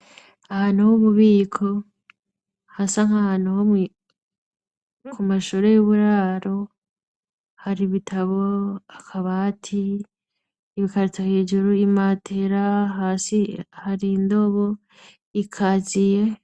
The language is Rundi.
Ahantu h'ububiko hasa nk'ahantu ho kumashure y'uburaro har'ibitabo, akabati, ibikarito hejuru, imatera, hasi har'indobo, ikaziye.